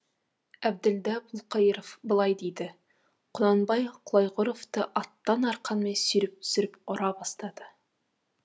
әбділда бұлқайыров былай дейді құнанбаев құлайғыровты аттан арқанмен сүйреп түсіріп ұра бастады